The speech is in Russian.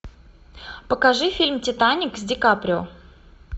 покажи фильм титаник с ди каприо